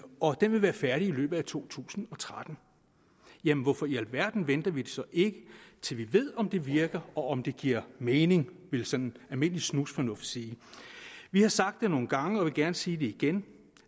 og den vil være færdig i løbet af to tusind og tretten jamen hvorfor i alverden venter vi så ikke til vi ved om det virker og om det giver mening ville sådan almindelig snusfornuft tilsige vi har sagt det nogle gange og vil gerne sige det igen